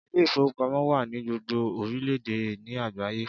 Ilé ìfowópamọ́ wà ní gbogbo orílẹ̀ èdè ní àgbáyé